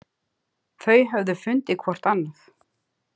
Þau höfðu fundið hvort annað.